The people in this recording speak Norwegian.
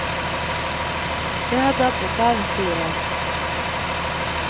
Det har dabbet av, sier han.